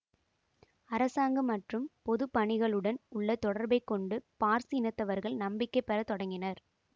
அரசாங்கம் மற்றும் பொது பணிகளுடன் உள்ள தொடர்பைக் கொண்டு பார்சி இனத்தவர்கள் நம்பிக்கை பெற தொடங்கினர்